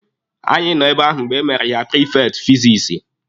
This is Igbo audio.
Anyị nọ ebe ahụ mgbe emere ya prifekti fizikisi.